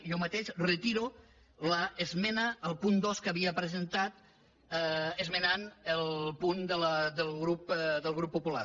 jo mateix retiro l’esmena al punt dos que havia presentat esmenant el punt del grup popular